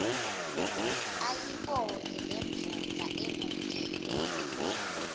ayibone lendvodza emotini